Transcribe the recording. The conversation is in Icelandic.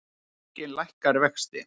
Seðlabankinn lækkar vexti